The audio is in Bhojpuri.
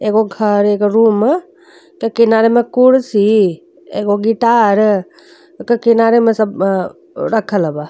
एगो घर एगो रूम त किनारे में कुर्सी एगो गिटार ओकर किनारे में सब बा रखल बा।